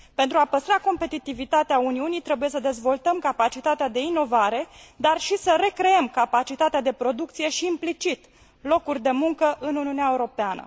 Pentru a păstra competitivitatea Uniunii, trebuie să dezvoltăm capacitatea de inovare, dar și să recreăm capacitatea de producție și, implicit, locuri de muncă în Uniunea Europeană.